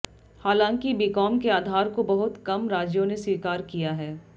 हालांकि बीकॉम के आधार को बहुत कम राज्यों ने स्वीकार किया है